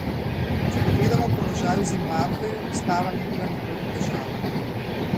Če pogledamo položaj v Zimbabveju, ustava ni bila nikoli težava.